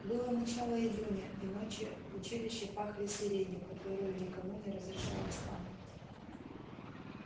было начало июня и ночи в училище пахли сиренью которую никому не разрешалось ломать